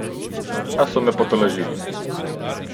A so me potolažili.